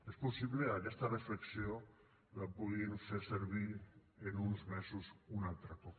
és possible que aquesta reflexió la puguin fer servir en uns mesos un altre cop